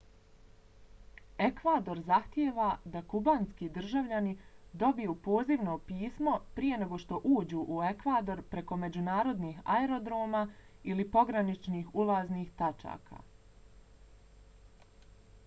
ekvador zahtijeva da kubanski državljani dobiju pozivno pismo prije nego što uđu u ekvador preko međunarodnih aerodroma ili pograničnih ulaznih tačaka